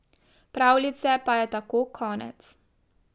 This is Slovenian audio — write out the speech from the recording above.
Pravljice pa je tako konec.